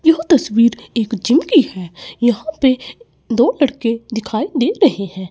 यह तस्वीर एक जू की है। यहां पे दो लड़के दिखाई दे रहे हैं।